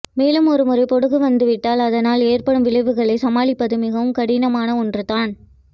மேலும் ஒருமுறை பொடுகு வந்துவிட்டால் அதனால் ஏற்படும் விளைவுகளை சமாளிப்பது மிகவும் கடினமான ஒன்றுதான்